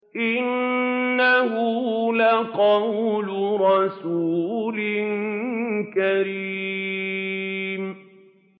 إِنَّهُ لَقَوْلُ رَسُولٍ كَرِيمٍ